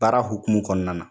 Baara hokumu kɔnɔna na.